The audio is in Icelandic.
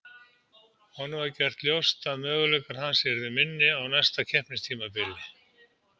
Honum var gert ljóst að möguleikar hans yrðu minni á næsta keppnistímabili.